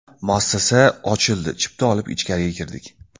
Muassasa ochildi, chipta olib ichkariga kirdik.